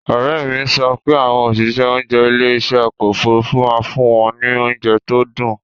Òrẹ́mi sọ pé àwọn òṣìṣẹ́ oúnjẹ ilé ìṣe ọkọ̀ Òfurufú máa fún wọn ní oúnjẹ tó dùn.